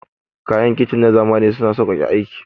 Kayan kicin na zamani suna sauƙaƙa aiki.